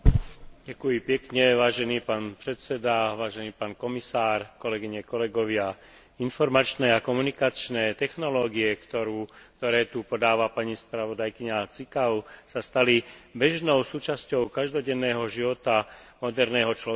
Informačné a komunikačné technológie, ktoré tu podáva pani spravodajkyňa Ţicău, sa stali bežnou súčasťou každodenného života moderného človeka, ako také významne ovplyvňujú celkové hospodárske, politické, ale aj sociálne dianie.